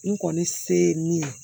N kɔni se ye min ye